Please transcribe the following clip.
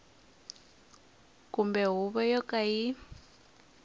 kumbe huvo yo ka yi